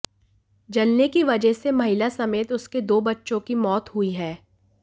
जलने की वजह से महिला समेत उसके दो बच्चों की मौत हुई है